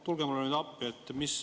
Tulge mulle appi.